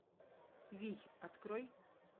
вий открой